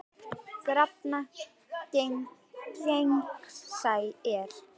Krafan gegnsæ er.